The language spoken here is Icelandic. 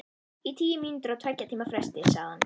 Í tíu mínútur á tveggja tíma fresti, sagði hann.